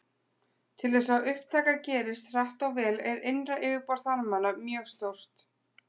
Til þess að upptaka gerist hratt og vel er innra yfirborð þarmanna mjög stórt.